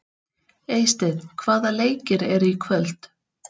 Eysteinn, hvaða leikir eru í kvöld?